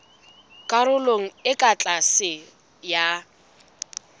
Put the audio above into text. karolong e ka tlase ya